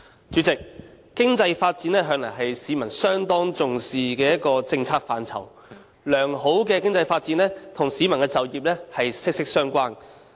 主席，經濟發展向來是市民相當重視的一項政策範疇，良好的經濟發展與市民的就業息息相關。